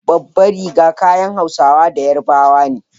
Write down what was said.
Babbar riga kayan Hausawa da Yarabawa ne.